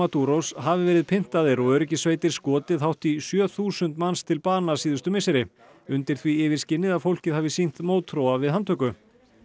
Maduros hafi verið pyntaðir og öryggissveitir skotið hátt í sjö þúsund manns til bana síðustu misseri undir því yfirskini að fólkið hafi sýnt mótþróa við handtöku